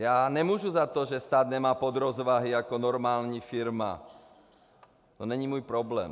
Já nemůžu za to, že stát nemá podrozvahy jako normální firma, to není můj problém.